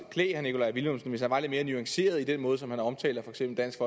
klæde herre nikolaj villumsen hvis han var lidt mere nuanceret i den måde som han omtaler for eksempel dansk